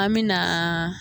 An min na.